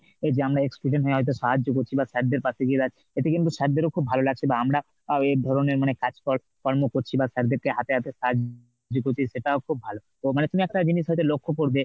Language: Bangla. এই যে আমরা ex student হয়ে হয়তো সাহায্য করছি বা sir দের পাশে গিয়ে দাঁড়াচ্ছি এটা কিন্তু sir দেরও খুব ভালো লাগছে বা আমরা এই ধরনের মানে কাজকর কর্ম করছি বা sir দের কে হাতে হাতে সাহায্য করছি, সেটাও খুব ভালো। তো মানে তুমি একটা জিনিস হয়তো লক্ষ্য করবে